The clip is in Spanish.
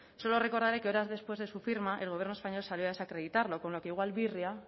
solo recordaré que horas después de su firma el gobierno español salió a desacreditarlo con lo que igual birria